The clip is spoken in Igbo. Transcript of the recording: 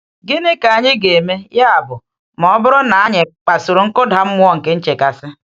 Gịnị ka anyị ga-eme, ya bụ, ma ọ bụrụ na anyị kpasuru nkụda mmụọ nke nchekasị?